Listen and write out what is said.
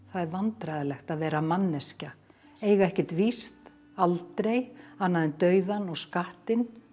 er vandræðalegt að vera manneskja eiga ekkert víst aldrei annað en dauðann og skattinn